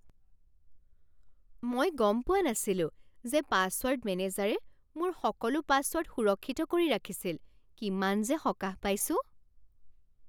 মই গম পোৱা নাছিলো যে পাছৱৰ্ড মেনেজাৰে মোৰ সকলো পাছৱৰ্ড সুৰক্ষিত কৰি ৰাখিছিল। কিমান যে সকাহ পাইছোঁ!